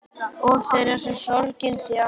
Og þeirra sem sorgin þjakar.